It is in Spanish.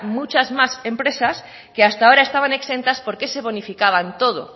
muchas más empresas que hasta ahora estaban exentas porque se bonificaban todo